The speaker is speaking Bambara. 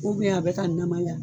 a bɛ ka namaya.